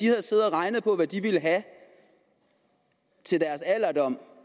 har siddet og regnet på hvad de ville have til deres alderdom